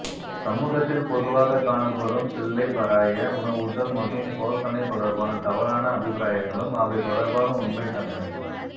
சமூகத்தில் பொதுவாகக் காணப்படும் பிள்ளைப்பராய உணவூட்டல் மற்றும் போசணை தொடர்பான தவறான அபிப்பிராயங்களும் அவை தொடர்பான உண்மைத் தன்மை